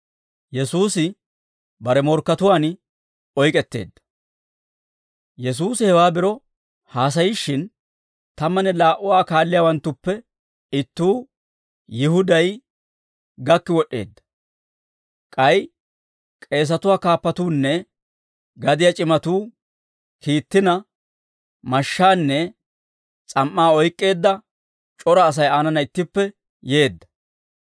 Yesuusi hewaa biro haasayishshin, tammanne laa"u Aa kaalliyaawanttuppe ittuu, Yihuday, gakki wod'd'eedda; k'ay k'eesatuwaa kaappatuunne gadiyaa c'imatuu kiittina, mashshaanne s'am"aa oyk'k'eedda c'ora Asay aanana ittippe yeedda.